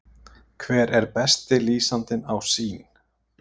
Hver er besti lýsandinn á Sýn?